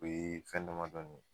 O ye fɛn damadama